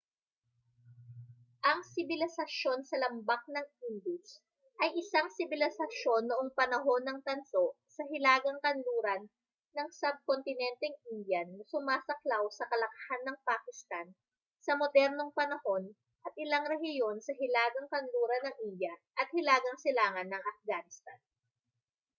ang sibilisasyon sa lambak ng indus ay isang sibilisasyon noong panahon ng tanso sa hilagang kanluran ng subkontinenteng indian na sumasaklaw sa kalakhan ng pakistan sa modernong-panahon at ilang rehiyon sa hilagang kanluran ng india at hilagang silangan ng afghanistan